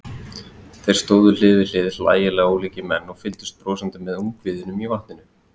Þeir stóðu hlið við hlið, hlægilega ólíkir menn, og fylgdust brosandi með ungviðinu í vatninu.